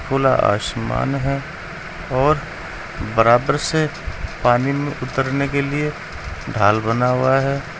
खुला आसमान है और बराबर से पानी में उतरने के लिए ढाल बना हुआ है।